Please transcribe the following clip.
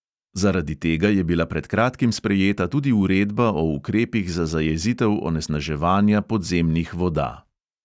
Zaradi tega je bila pred kratkim sprejeta tudi uredba o ukrepih za zajezitev onesnaževanja podzemnih voda.